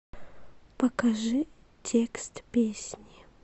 покажи текст песни